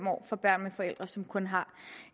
år for børn med forældre som kun har